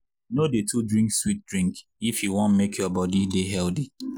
no dey too drink sweet drink if you wan make your body dey healthy.